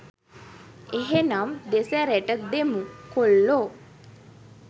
එහෙනම් දෙසැරෙට දෙමු කොල්ලො